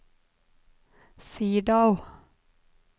Sirdal